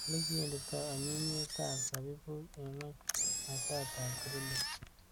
Ulikiwendito anyinyiet ab sabibuk ing'uny masat ab grillit.